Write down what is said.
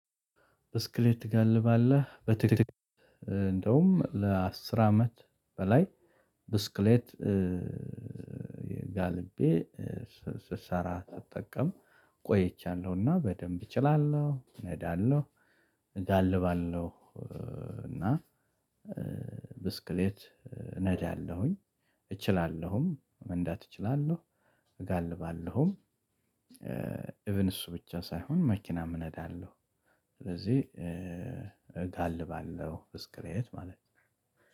ብስክሌት ትጋልባለህ? በትክክል እንደውም ለአስር አመት በላይ ብስክሌት ጋልቤ ስሰራ ስጠቀም ቆይቻለሁና በደንብ እችላለሁ እነዳለው እጋልባለው እና ብስክሌት እነዳለሁኝ፤ እችላለሁም መንዳት እትችላለው እጋልባለሁም እቭን እሱ ብቻ ሳይሆን መኪናም እነዳለው። ስለዚህ እጋልባለው ብስክሌት ማለት ነው